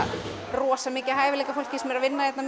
rosa mikið af hæfileikafólki sem er að vinna hérna